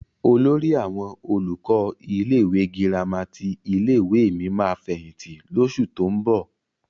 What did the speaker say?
Olórí àwọn olùkọ́ ilé-ìwé gírámà ti ilé-ìwé mi máa fẹ̀yìntì lóṣù tó ń bọ̀.